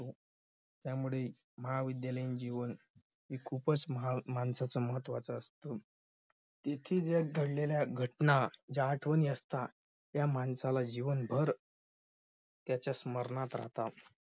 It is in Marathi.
त्यामुळे महाविद्यालयीन जीवन हे खूपच माणसाचं महत्त्वाचं असतं. इथे ज्या घडलेल्या घटना ज्या आठवणी असतात त्या माणसाला जीवनभर त्याच्या स्मरणात राहतात.